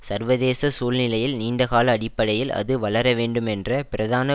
சர்வதேச சூழ்நிலையில் நீண்டகால அடிப்படையில் அது வளரவேண்டுமென்ற பிரதான